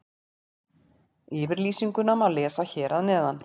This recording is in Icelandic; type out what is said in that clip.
Yfirlýsinguna má lesa hér að neðan.